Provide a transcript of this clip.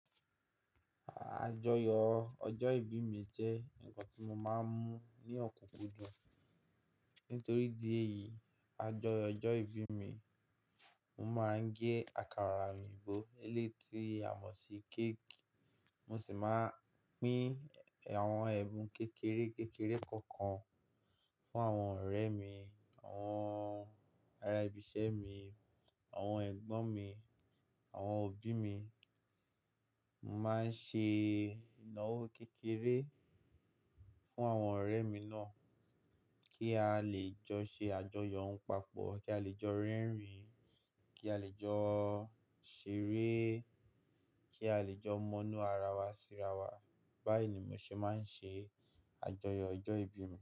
À-àjọyọ̀ ọjọ́ ìbí mi jẹ́ ǹkan tí mo ma ń mú ní ọ̀kúnkúndùn nítorí ìdí èyí àjọyọ̀ ọjọ́ ìbí mi, mo ma ń gé àkàrà òyìnbó, eléyìí tí a mọ̀ sí cake, mo sì ma ń pín àwọn ẹ̀bùn kékeré kékeré kan kan fún àwọn ọ̀rẹ́ mi, àwọn ará ibiṣẹ́ mi, àwọn ẹ̀gbọ́n mi, àwọn òbí mi. Mo ma ń ṣe ìnáwó kékeré fún àwọn ọ̀rẹ́ mi náà kí a lè jọ ṣe àjọyọ̀ papọ̀, kí a lè jọ rẹ́rìn, kí a lè jọ ṣeré, kí a lè jọ mo nu ara wa síra wa. Báyì ni mo ṣe ma ń ṣe àjọyọ̀ ọjọ́ ìbí mi.